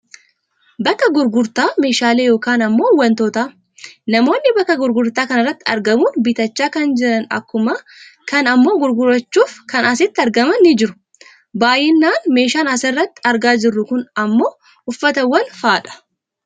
Bakka gurgurtaa meeshalee yookaan ammoo wantootaa. Namoonni bakka gurgurtaa kanarratti argamuun bitachaa kan jiran akkuma kana ammoo gurgurachuufi kan asitti argaman ni jiru. Baayyinan meeshaan as irratti argaa jirru kun uffatawwan faa'adha.